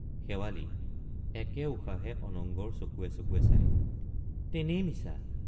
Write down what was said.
শেৱালি— একে উশাহে অনঙ্গৰ চকুৱে চকুৱে চাই তেনেই মিছা।